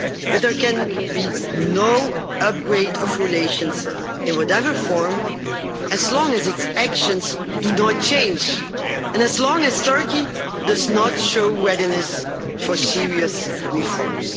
that there can be no upgrade of relations, in whatever form, as long as its actions do not change and as long as Turkey does not show readiness for serious reforms.